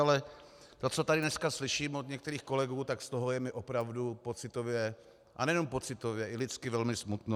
Ale to, co tady dneska slyším od některých kolegů, tak z toho mi je opravdu pocitově, a nejenom pocitově, i lidsky velmi smutno.